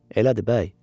"Elədir bəy."